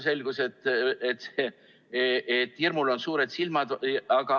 Selgus, et hirmul on suured silmad.